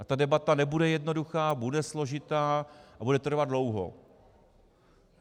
A ta debata nebude jednoduchá, bude složitá a bude trvat dlouho.